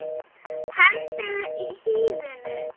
Hendið hýðinu.